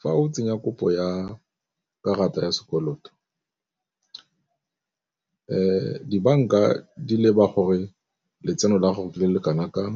Fa o tsenya kopo ya karata ya sekoloto dibanka di leba gore letseno la gago le le kana kang,